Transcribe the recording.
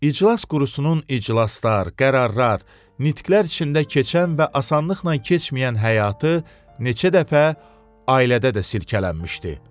İclas Qurusunun iclaslar, qərarlar, nitqlər içində keçən və asanlıqla keçməyən həyatı neçə dəfə ailədə də sirkələnmişdi.